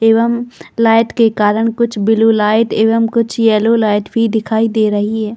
एवं लाइट के कारण कुछ ब्लू लाइट एवं कुछ येलो लाइट भी दिखाई दे रही हैं ।